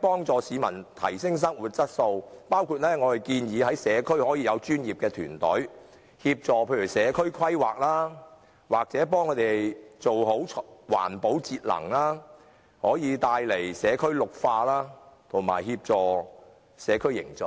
幫助市民提升生活質素，包括我們所建議的在社區設立專業團隊，協助社區規劃或為他們做好環保節能，以綠化社區及協助社區凝聚。